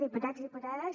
diputats diputades